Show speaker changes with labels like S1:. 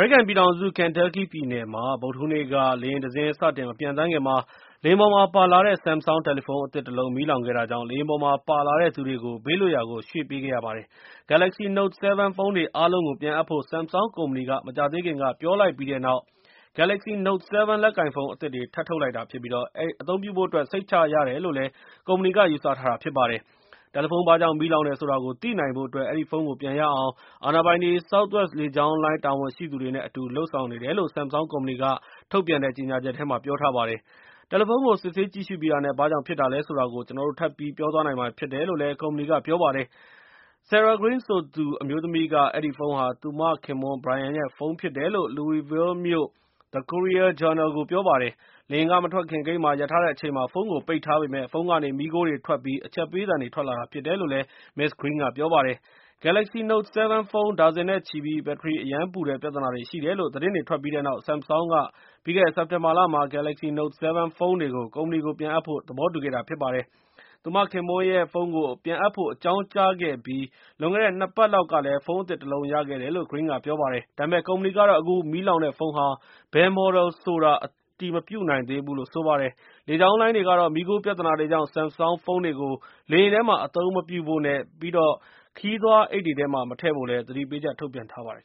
S1: ရိကန်ပြည်ထောင်စု Kentucky ပြည်နယ်မှာ ဗုဒ္ဓဟူးနေ့က လေယာဉ်တစင်း စတင်မပျံသန်းခင်မှာ လေယာဉ်ပေါ်မှာပါလာတဲ့ Samsung တယ်လီဖုန်းအသစ်တလုံး မီးလောင်ခဲ့တာကြောင့် လေယာဉ်ပေါ်မှာပါလာတဲ့သူတွေကို ဘေးလွတ်ရာကို ရွှေ့ခဲ့ရပါတယ်။ Galaxy Note 7 ဖုန်းတွေအားလုံးကို ပြန်အပ်ဖို့ Samsung ကုမ္ပဏီက မကြာသေးခင်ကပဲ ပြောကြားလိုက်ပြီးတဲ့နောက် Galaxy Note 7 လက်ကိုင်ဖုန်းအသစ်တွေ ထပ်ထုတ်လိုက်တာဖြစ်ပြီး၊ အသုံးပြုဖို့အတွက် စိတ်ချရတယ်လို့လည်း ကုမ္ပဏီက ယူဆထားတာဖြစ်ပါတယ်။ တယ်လီဖုန်းဘာကြောင့် မီးလောင်တယ်ဆိုတာကို သိနိုင်ဖို့အတွက် ၊ အဲဒီဖုန်းကို ပြန်ရအောင် အာဏာပိုင်တွေ၊ Southwest လေကြောင်းလိုင်း တာဝန်ရှိသူတွေ အတူလုပ်ဆောင်နေတယ်လို့ Samsung ကုမ္ပဏီက ထုတ်ပြန်တဲ့ကြေငြာချက်ထဲမှာ ပြောထားပါတယ်။ တယ်လီဖုန်းကို စစ်ဆေးကြည့်ရှုပြီးတာနဲ့ ဘာကြောင့်ဖြစ်တာလဲဆိုတာကို ကျနော်တို့ ထပ်ပြီးပြောပြသွားနိုင်မှာဖြစ်တယ်လို့လည်း ကုမ္ပဏီက ပြောပါတယ်။ Sarah Green ဆိုသူ အမျိုးသမီးက အဲဒီဖုန်းဟာ သူမခင်ပွန်း Brian ရဲ့ ဖုန်းဖြစ်တယ်လို့ Louisville မြို့The Courier-Journal ကို ပြောပါတယ်။ လေယာဉ်က မထွက်ခင် ဂိတ်မှာရပ်ထားတဲ့အချိန်မှာ ဖုန်းကိုပိတ်ထားပေမယ့်၊ ဖုန်းကနေမီးခိုးတွေထွက်ပြီး၊ အချက်ပေးသံတွေထွက်လာတာ ဖြစ်တယ်လို့ Ms. Green က ပြောပါတယ်။ Galaxy Note 7 ဖုန်း ဒါဇင်နဲ့ချီပြီး၊ ဘတ္ထရီ အရမ်းပူတဲ့ပြဿနာတွေ ရှိတယ်လို့ သတင်းတွေထွက်ပြီးတဲ့နောက်၊ Samsung က ပြီးခဲ့တဲ့ စက်တင်ဘာလမှာ Galaxy Note 7 ဖုန်းတွေကို ကုမ္ပဏီကို ပြန်အပ်ဖို့ သဘောတူခဲ့တာဖြစ်ပါတယ်။ သူမခင်ပွန်းရဲ့ ဖုန်းကို ပြန်အပ်ဖို့အကြောင်းကြားခဲ့ပြီး၊ လွန်ခဲ့တဲ့ ၂ ပတ်လောက်က ဖုန်းအသစ်တလုံးရခဲ့တယ်လို့ Green က ပြောပါတယ်။၊ ဒါပေမဲ့ ကုမ္ပဏီကတော့ အခုမီးလောင်တဲ့ဖုန်းဟာ ဘယ် Model ဆိုတာ အတည်မပြုနိုင်သေးဘူးလို့ဆိုပါတယ်။ လေကြောင်းလိုင်းတွေကတော့ မီးခိုး ပြဿနာတွေကြောင့် Samsung ဖုန်းတွေကို လေယာဉ်ထဲမှာအသုံးမပြုဖို့ ပြီးတော့ ခရီးသွားအိတ်တွေမထည့်ဖို့လည်း သတိပေးချက်ထုတ်ပြန်ထားပါတယ်